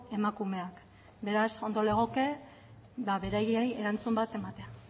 emakumeak beraz ondo legoke beraiei erantzun bat ematea